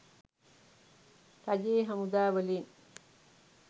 රජයේ හමුදා වලින්.